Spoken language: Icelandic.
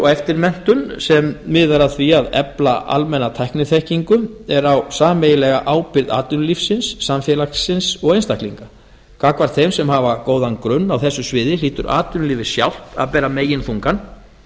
eftirmenntun sem miðar að því að efla almenna tækniþekkingu er á sameiginlega ábyrgð atvinnulífsins samfélagsins og einstaklinga gagnvart þeim sem hafa góðan grunn á þessu sviði hlýtur atvinnulífið sjálft að bera meginþungann